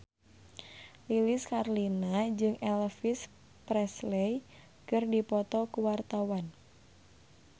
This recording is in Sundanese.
Lilis Karlina jeung Elvis Presley keur dipoto ku wartawan